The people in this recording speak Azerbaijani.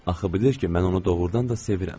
Axı bilir ki, mən onu doğrudan da sevirəm.